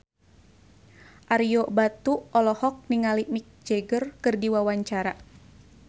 Ario Batu olohok ningali Mick Jagger keur diwawancara